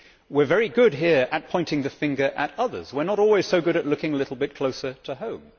We are very good here at pointing the finger at others, we are not always so good at looking a little bit closer to home.